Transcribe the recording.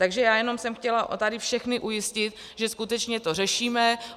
Takže já jenom jsem chtěla tady všechny ujistit, že skutečně to řešíme.